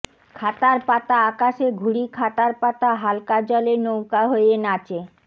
খাতার পাতা আকাশে ঘুড়ি খাতার পাতা হালকা জলে নৌকা হয়ে নাচে